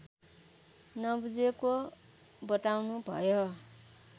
नबुझेको बताउनुभयो